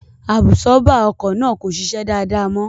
Àbùsọ́bà ọkọ̀ náà kò ṣiṣẹ́ dáadáa mọ́